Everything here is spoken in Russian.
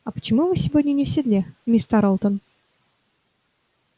а почему вы сегодня не в седле миссис тарлтон